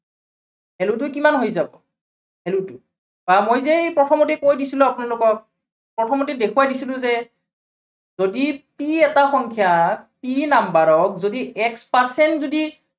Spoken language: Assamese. value টো কিমান হৈ যাব value টো। বা মই যে সেই প্ৰথমতেই কৈ দিছিলো যে আপোনালোকক, প্ৰথমতেই দেখুৱাই দিছিলো যে যদি p এটা সংখ্যা p number ক যদি x percent যদি